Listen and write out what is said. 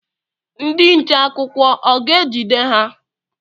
Ndị nche akwụkwọ ọ ga ejide ha?